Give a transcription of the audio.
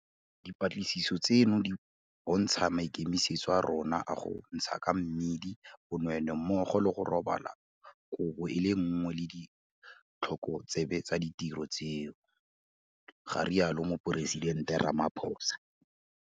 Dipatlisiso tseno di bontsha maikemisetso a rona a go ntsha ka mmidi bonweenwee mmogo le go robala kobo e le nngwe le ditlhokotsebe tsa ditiro tseo, ga rialo Moporesitente Ramaphosa.